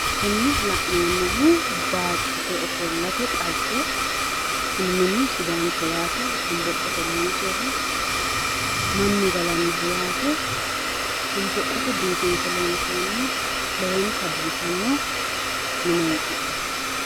kuni la'neemmohu baattote ofollate xagge minu sidaanchoho shonboqqote loonsoyiiho yaate mannu galannoho yaate shonboqqote biifinse loonsoonni lowonta biifanno mineeti.